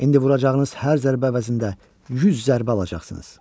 İndi vuracağınız hər zərbə əvəzində 100 zərbə alacaqsınız.